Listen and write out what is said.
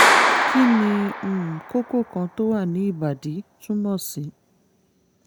kí ni um kókó kan tó wà ní ìbàdí túmọ̀ sí?